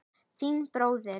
Þinn bróðir